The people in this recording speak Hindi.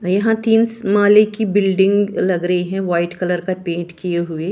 यहां तीन स माले की बिल्डिंग लग रही है वाइट कलर का पेंट किए हुई ।